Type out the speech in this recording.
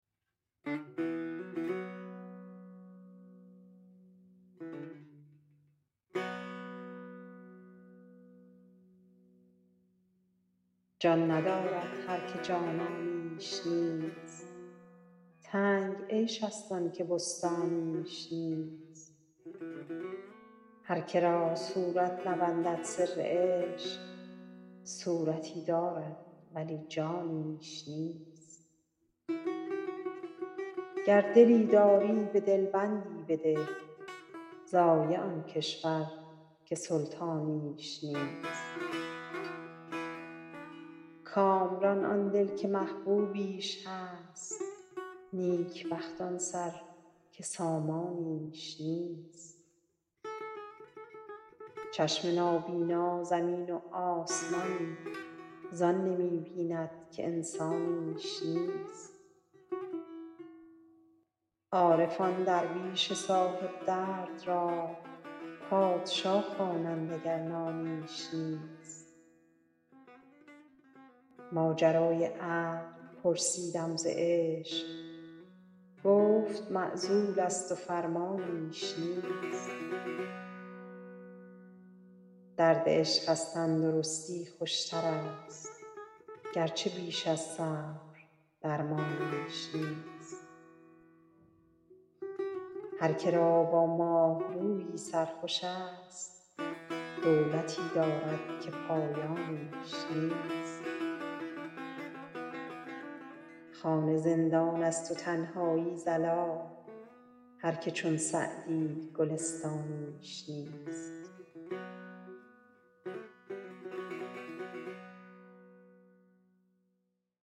جان ندارد هر که جانانیش نیست تنگ عیش ست آن که بستانیش نیست هر که را صورت نبندد سر عشق صورتی دارد ولی جانیش نیست گر دلی داری به دل بندی بده ضایع آن کشور که سلطانیش نیست کامران آن دل که محبوبیش هست نیک بخت آن سر که سامانیش نیست چشم نابینا زمین و آسمان زان نمی بیند که انسانیش نیست عارفان درویش صاحب درد را پادشا خوانند گر نانیش نیست ماجرای عقل پرسیدم ز عشق گفت معزول ست و فرمانیش نیست درد عشق از تن درستی خوش ترست گرچه بیش از صبر درمانیش نیست هر که را با ماه رویی سر خوش ست دولتی دارد که پایانیش نیست خانه زندان ست و تنهایی ضلال هر که چون سعدی گلستانیش نیست